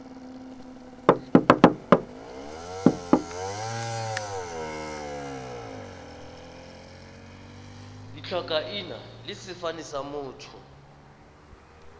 ditlhakaina le sefane sa motho